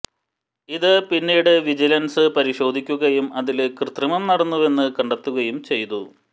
ഇത് പിന്നീട് വിജിലന്സ് പരിശോധിക്കുകയും അതില് കൃത്രിമം നടന്നുവെന്ന് കണ്ടെത്തുകയും ചെയ്തു